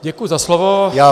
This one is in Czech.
Děkuji za slovo.